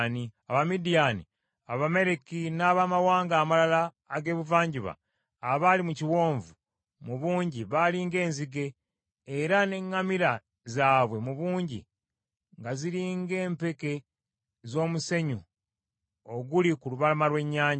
Abamidiyaani, Abamaleki n’Abamawanga amalala ag’ebuvanjuba abaali mu kiwonvu, mu bungi baali ng’enzige; era n’eŋŋamira zaabwe mu bungi, nga ziri ng’empeke z’omusenyu oguli ku lubalama lw’ennyanja.